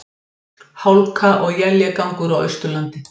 Hálka og éljagangur á Austurlandi